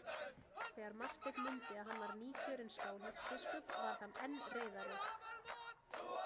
Þegar Marteinn mundi að hann var nýkjörinn Skálholtsbiskup varð hann enn reiðari.